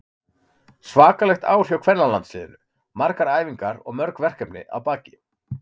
Svakalegt ár hjá kvennalandsliðinu, margar æfingar og mörg verkefni að baki.